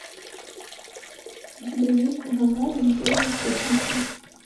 у тебя есть гагарин первый в космосе